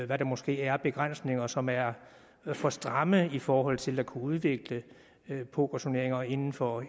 hvad der måske er af begrænsninger som er for stramme i forhold til at kunne udvikle pokerturneringer inden for